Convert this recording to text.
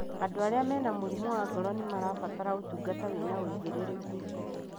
Andũ arĩa mena mĩrimũ wa ngoro nĩmarabatara ũtungata wĩna ũigĩrĩrĩku